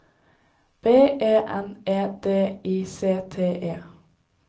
B E N E D I C T E